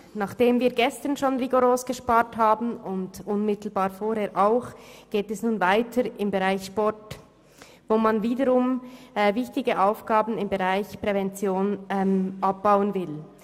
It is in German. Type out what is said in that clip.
Nachdem wir gestern schon rigoros gespart haben und unmittelbar vorher auch, geht es nun weiter beim Sport, wo man wiederum wichtige Aufgaben im Bereich Prävention abbauen will.